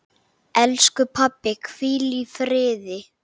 Elsku pabbi, hvíl í friði.